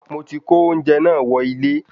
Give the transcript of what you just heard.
Moti ko oúnjẹ naa wọ ilẹ